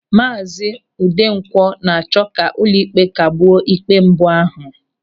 Maazi Udenkwọ na-achọ ka ụlọịkpe kagbuo ikpe mbụ ahụ.